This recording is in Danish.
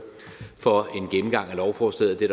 for en gennemgang af lovforslaget det